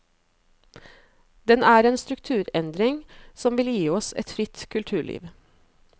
Den er en strukturendring som vil gi oss et fritt kulturliv.